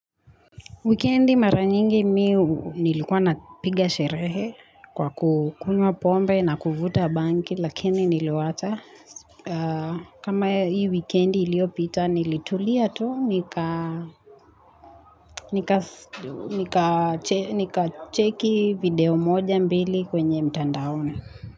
Wikendi mara nyingi mi hu nilikuwa napiga sherehe kwa kukunywa pombe na kuvuta bangi lakini niliwacha kama hii weekend iliyopita nilitulia tu nika Nika check video moja mbili kwenye mtandaoni.